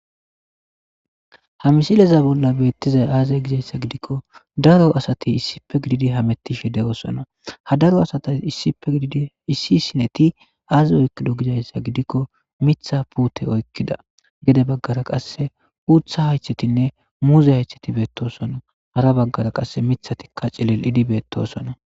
Ha misileza bola betizayisi aze gizayisa gidikko daro asati issippe gididi hametishshe deosoona ha daro asati kehippe gididi azi oyikkido gizayisa gidikko miththa putte oyikkida gede bagara qasekkauththa hayiththetinne muze hayiththeti betosona hara bagara qasekka miththa hayiththetikka cililidi betosona